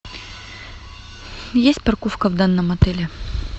есть парковка в данном отеле